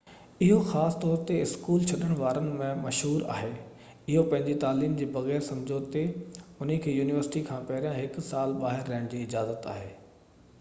اهو خاص طور تي اسڪول ڇڏڻ وارن ۾ مشهور آهي اهي پنهنجي تعليم جي بغير سمجهوتي انهن کي يونيورسٽي کان پهرين هڪ سال ٻاهر رهڻ جي اجازت آهي